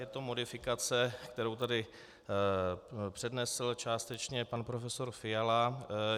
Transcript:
Je to modifikace, kterou tady přednesl částečně pan profesor Fiala.